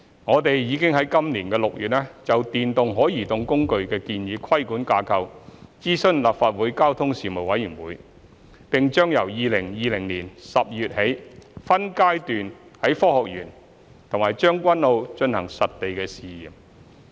我們已於今年6月就電動可移動工具的建議規管架構諮詢立法會交通事務委員會，並將由2020年12月起分階段於科學園和將軍澳進行實地試驗。